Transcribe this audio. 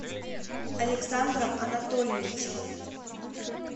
александром анатольевичем